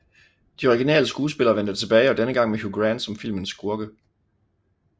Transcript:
De originale skuespillere vendte tilbage og denne gang med Hugh Grant som filmens skurke